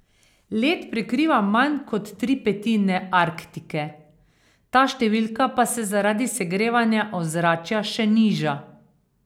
Led prekriva manj kot tri petine Arktike, ta številka pa se zaradi segrevanja ozračja še niža.